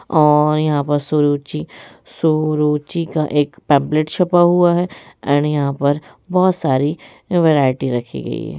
और यहां पर सुरुचि सू रु ची का एक पैम्फलेट छपा हुआ है एंड यहां पर बहुत सारी वैराइटी रखी गयी है।